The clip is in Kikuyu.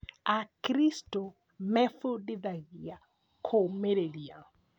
Akristo mebundithagia kũmĩrĩria